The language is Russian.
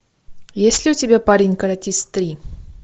есть ли у тебя парень каратист три